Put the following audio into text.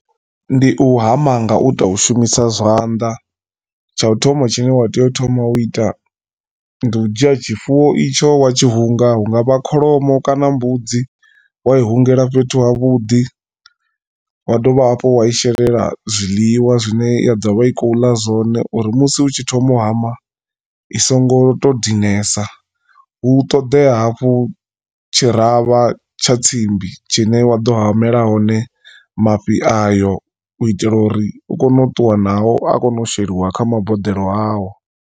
Ndi u hama nga u tou shumisa zwanḓa tsha u thoma tshine wa tea u thoma u ita ndi u dzhia tshifuwo itsho wa tshi hunga hungavha kholomo kana mbudzi wa i hungela fhethu havhuḓi wa dovha hafhu wa i shelela zwiḽiwa zwine ya ḓovha i khou ḽa zwone uri musi u tshi thoma u hama i songo to dinesa hu ṱoḓea hafhu tshiravha tsha tsimbi tshine wa ḓo hamela hone mafhi ayo u itela uri u kone u ṱuwa nao a kone u sheliwa kha maboḓelo ao.